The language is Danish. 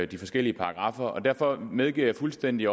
de forskellige paragraffer derfor medgiver jeg fuldstændig